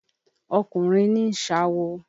Ọkùnrin ní ń ṣawo.